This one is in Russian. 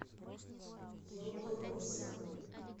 ялуторовска